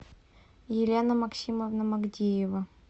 елена максимовна магдиева